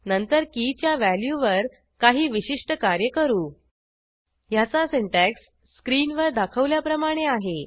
नंतर की च्या व्हॅल्यूवर काही विशिष्ट कार्य करू ह्याचा सिंटॅक्स स्क्रीनवर दाखवल्याप्रमाणे आहे